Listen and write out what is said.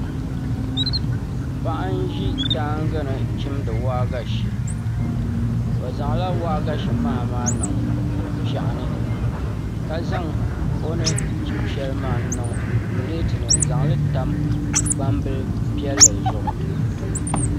Paɣa n ʒi daangi ni chimdi waagashe o zaŋla waagashe maha maa niŋ piɛɣu ni ka zaŋ o ni chim shɛli maa n niŋ pileet ni n zaŋli tam gbambili piɛlli zuɣu